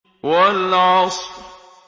وَالْعَصْرِ